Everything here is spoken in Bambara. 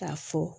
K'a fɔ